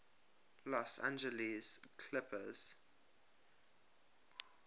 los angeles clippers